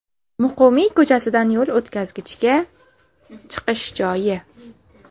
Muqimiy ko‘chasidan yo‘l o‘tkazgichga chiqish joyi.